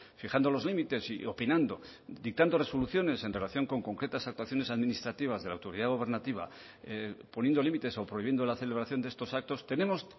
fijando los límites y opinando dictando resoluciones en relación con concretas actuaciones administrativas de la autoridad gubernativa poniendo límites o prohibiendo la celebración de estos actos tenemos